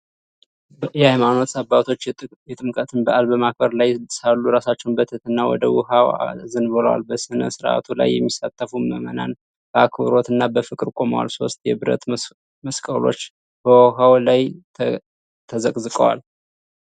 የሃይማኖት አባቶች የጥምቀትን በዓል በማክበር ላይ ሳሉ ራሳቸውን በትህትና ወደ ውኃው አዘንብለዋል። በሥነ ሥርዓቱ ላይ የሚሳተፉ ምዕመናን በአክብሮትና በፍቅር ቆመዋል። ሦስት የብረት መስቀሎች በውኃው ላይ ተዘቅዝቀዋል።